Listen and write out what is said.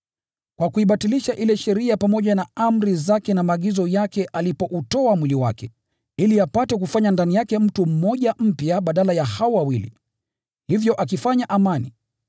kwa kuibatilisha ile sheria pamoja na amri zake na maagizo yake alipoutoa mwili wake, ili apate kufanya ndani yake mtu mmoja mpya badala ya hao wawili, hivyo akifanya amani,